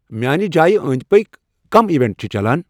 میانہِ جایہِ پٔکۍ کۄم ایونٹ چھِ چلان